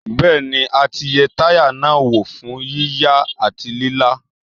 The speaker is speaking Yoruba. Bẹ́ẹ̀ni a ti yẹ táyà náà wò fún yíya àti lílá.